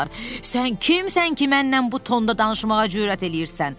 Sən kimsən ki, mənlə bu tonda danışmağa cürət eləyirsən?